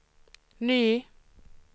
ny